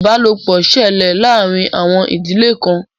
Ìbálòpọ̀ ṣẹlẹ̀ láàárín àwọn ìdílé kan.